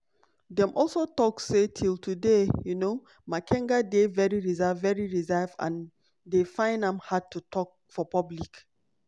dem also tok say till today um makenga dey very reserved very reserved and dey find am hard to tok for public.